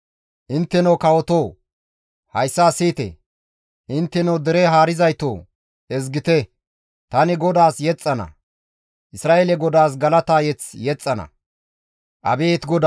«Intteno kawotoo! Hayssa siyite! Intteno dere haarizaytoo! Ezgite! Tani GODAAS yexxana; Isra7eele GODAAS galata mazamure yexxana.